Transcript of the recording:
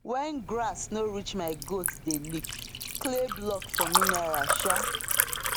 when grass no reach my goat dey lick clay block for mineral um